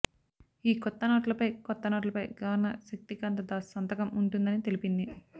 ఈ కొత్త నోట్లపై కొత్త నోట్లపై గవర్నర్ శక్తికాంత దాస్ సంతకం ఉంటుందని తెలిపింది